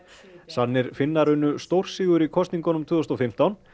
sannir Finnar unnu stórsigur í kosningunum tvö þúsund og fimmtán